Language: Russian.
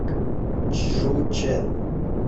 чжучэн